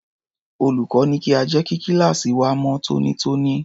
Olùkọ́ ní kí a jẹ́ kí kíláàsì wa mọ́ tónítóní.